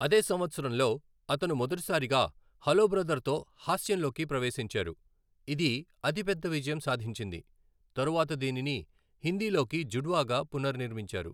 అదే సంవత్సరంలో, అతను మొదటిసారిగా హలో బ్రదర్ తో హాస్యంలోకి ప్రవేశించారు, ఇది అతి పెద్ద విజయం సాధించింది, తరువాత దీనిని హిందీలోకి జుడ్వా గా పునర్నిర్మించారు.